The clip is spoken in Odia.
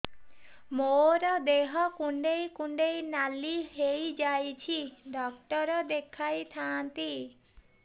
ମୋର ଦେହ କୁଣ୍ଡେଇ କୁଣ୍ଡେଇ ନାଲି ହୋଇଯାଉଛି ଡକ୍ଟର ଦେଖାଇ ଥାଆନ୍ତି